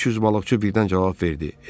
300 balıqçı birdən cavab verdi.